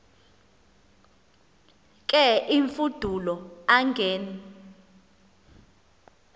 ke imfudulo angen